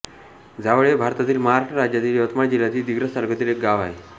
जावळ हे भारतातील महाराष्ट्र राज्यातील यवतमाळ जिल्ह्यातील दिग्रस तालुक्यातील एक गाव आहे